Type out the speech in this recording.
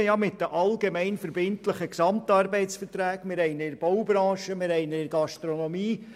Wir haben ihn mit den allgemein verbindlichen GAV in der Baubranche und in der Gastronomie.